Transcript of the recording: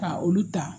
Ka olu ta